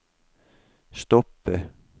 stoppe